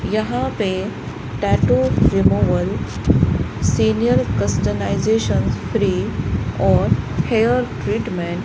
यहां पे tattoo removal senior customization free और हेयर ट्रीटमेंट --